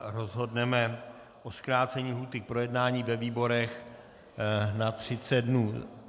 rozhodneme o zkrácení lhůty k projednání ve výborech na 30 dnů.